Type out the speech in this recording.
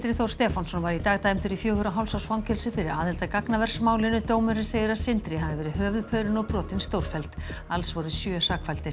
Þór Stefánsson var í dag dæmdur í fjögurra og hálfs árs fangelsi fyrir aðild að gagnaversmálinu dómurinn segir að Sindri hafi verið höfuðpaurinn og brotin stórfelld alls voru sjö sakfelldir